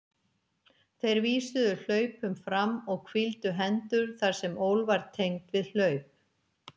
Þeir vísuðu hlaupum fram og hvíldu hendur þar sem ól var tengd við hlaup.